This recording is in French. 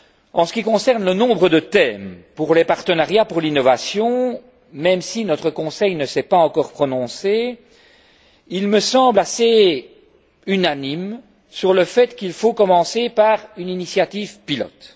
En ce qui concerne le nombre de thèmes pour les partenariats pour l'innovation, même s'il ne s'est pas encore prononcé, notre Conseil me semble assez unanime sur le fait qu'il faut commencer par une initiative pilote.